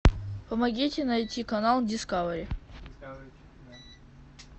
помогите найти канал дискавери